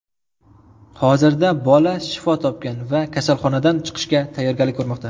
Hozirda bola shifo topgan va kasalxonadan chiqishga tayyorgarlik ko‘rmoqda.